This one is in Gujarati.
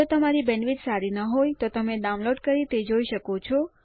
જો તમારી બેન્ડવિડ્થ સારી નહિં હોય તો તમે ડાઉનલોડ કરી તે જોઈ શકો છો